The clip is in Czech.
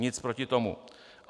Nic proti tomu.